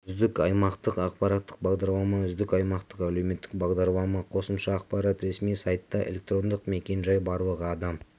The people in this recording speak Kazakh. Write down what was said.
үздік аймақтық ақпараттық бағдарлама үздік аймақтық әлеуметтік бағдарлама қосымша ақпарат ресми сайтта электрондық мекен-жай барлығы адам